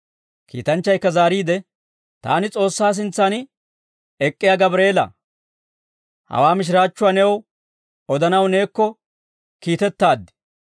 Kiitanchchaykka zaariide, «Taani S'oossaa sintsan ek'k'iyaa Gabreela; hawaa mishiraachchuwaa new odanaw neekko kiitettaad;